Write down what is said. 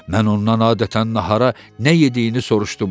Mən ondan adətən nahara nə yediyini soruşdum.